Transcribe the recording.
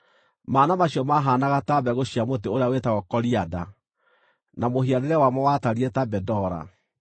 Mana macio maahaanaga ta mbegũ cia mũtĩ ũrĩa wĩtagwo korianda, na mũhianĩre wamo watariĩ ta bedola.